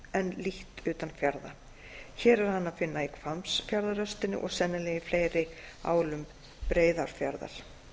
en lítt utanfjarða hér er hann að finna í hvammsfjarðarröstinni og sennilega í fleiri álum breiðafjarðar